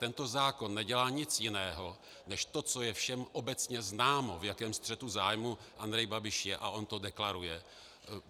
Tento zákon nedělá nic jiného než to, co je všem obecně známo, v jakém střetu zájmů Andrej Babiš je, a on to deklaruje.